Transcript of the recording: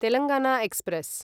Telangana express